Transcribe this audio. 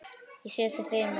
Ég sé þig fyrir mér.